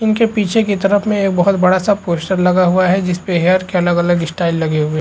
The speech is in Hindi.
इनके पीछे की तरफ में एक बहोत बड़ा सा पोस्टर लगा हुआ है जिसपे हेयर के अलग - अलग स्टाइल लगे हुए --